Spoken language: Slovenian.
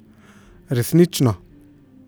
Resnično.